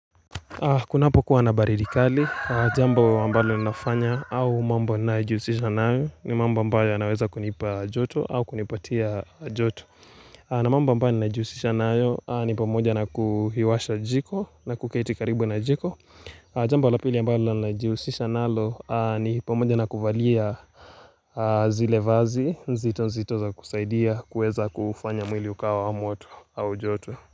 Kuna hapo kuwa nabaridi kali, jambo ambalo ninafanya au mambo ninajiusisha nayo ni mambo ambayo yanaweza kunipa joto au kunipatia joto na mambo ambayo najihusisha nayo ni pamoja na kuhiwasha jiko na kuketi karibu na jiko Jamba lapili ambalo najihusisha nalo ni pamoja na kuvalia zile vazi, nzito nzitoza kusaidia kuweza kufanya mwili ukawa wa mwoto au joto.